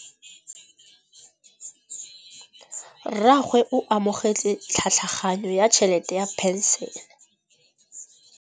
Rragwe o amogetse tlhatlhaganyô ya tšhelête ya phenšene.